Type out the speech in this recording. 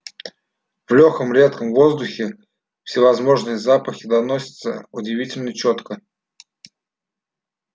в лёгком редком воздухе всевозможные запахи доносятся удивительно чётко